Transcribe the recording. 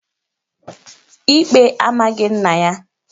Ikpe amaghị nna ya